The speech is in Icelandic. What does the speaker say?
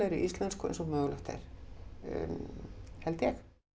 íslensku eins og mögulegt er held ég